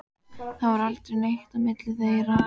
Það varð aldrei neitt á milli þeirra.